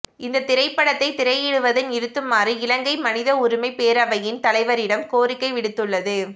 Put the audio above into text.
இந்த திரைப்படத்தை திரையிடுவதை நிறுத்துமாறு இலங்கை மனித உரிமை பேரவையின் தலைவரிடம் கோரிக்கை விடுத்துள்ளது